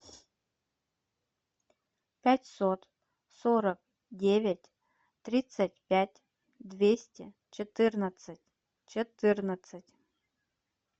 пятьсот сорок девять тридцать пять двести четырнадцать четырнадцать